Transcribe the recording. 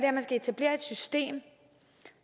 etablere et system